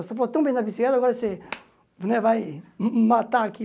Você falou tão bem da bicicleta, agora você né vai ma matar aqui.